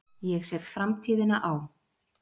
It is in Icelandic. Ég set framtíðina á.